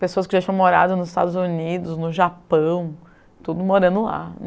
pessoas que já tinham morado nos Estados Unidos, no Japão, tudo morando lá.